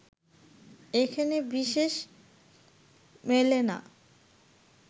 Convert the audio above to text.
এখানে বিশেষ মেলে না